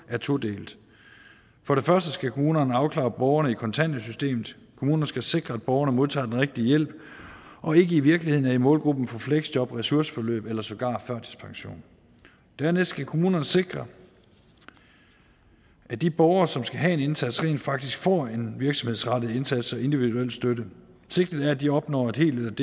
er todelt for det første skal kommunerne afklare borgerne i kontanthjælpssystemet kommunerne skal sikre at borgerne modtager den rigtige hjælp og ikke i virkeligheden er i målgruppen for fleksjob og ressourceforløb eller sågar førtidspension dernæst skal kommunerne sikre at de borgere som skal have en indsats rent faktisk får en virksomhedsrettet indsats og individuel støtte sigtet er at de opnår helt